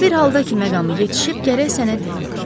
Amma bir halda ki, məqamı yetişib, gərək sənə deyim.